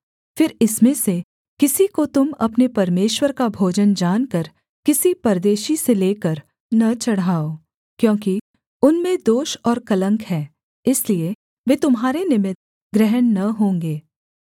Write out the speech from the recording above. फिर इनमें से किसी को तुम अपने परमेश्वर का भोजन जानकर किसी परदेशी से लेकर न चढ़ाओ क्योंकि उनमें दोष और कलंक है इसलिए वे तुम्हारे निमित्त ग्रहण न होंगे